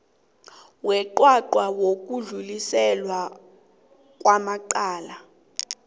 weqwaqwa wokudluliselwa kwamacala